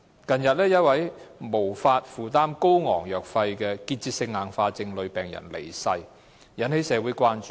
近日，一名無法負擔高昂藥費的結節性硬化症女病人離世，引起社會關注。